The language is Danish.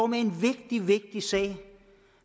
med en vigtig vigtig sag